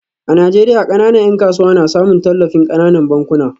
A Najeriya, kananan ‘yan kasuwa na samun tallafin kananan bankuna